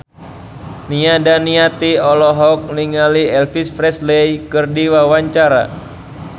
Nia Daniati olohok ningali Elvis Presley keur diwawancara